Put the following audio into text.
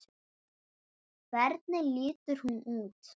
Hvernig lítur hún út?